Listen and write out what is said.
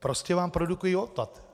Prostě vám produkují odpad...